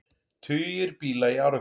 Tugir bíla í árekstri